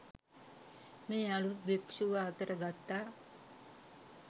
මේ අළුත් භික්ෂුව අතට ගත්තා